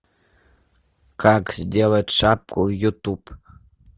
как сделать шапку ютуб